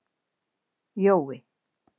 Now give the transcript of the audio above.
Jói